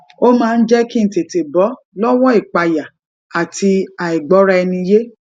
ó máa ń jé kí n tètè bó lówó ìpayà àti àìgbóraẹniyé